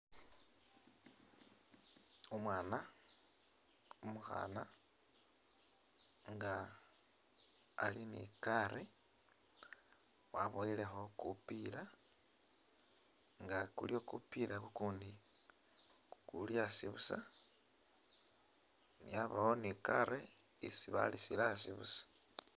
Umwana umukhana nga ali ni kari wabowelekho kupila nga kuliwo kupila kukundi kuli asi busa yabawo ni kari isi balisile asi busa.